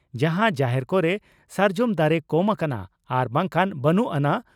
ᱡᱟᱦᱟᱸ ᱡᱟᱦᱮᱨ ᱠᱚᱨᱮ ᱥᱟᱨᱡᱚᱢ ᱫᱟᱨᱮ ᱠᱚᱢ ᱟᱠᱟᱱᱟ ᱟᱨ ᱵᱟᱝᱠᱷᱟᱱ ᱵᱟᱹᱱᱩᱜ ᱟᱱᱟᱝ